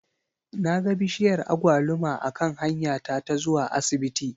Na ga bishiyar agwaluma a kan hanya ta ta zuwa asibiti